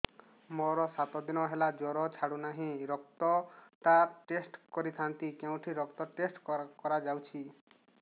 ମୋରୋ ସାତ ଦିନ ହେଲା ଜ୍ଵର ଛାଡୁନାହିଁ ରକ୍ତ ଟା ଟେଷ୍ଟ କରିଥାନ୍ତି କେଉଁଠି ରକ୍ତ ଟେଷ୍ଟ କରା ଯାଉଛି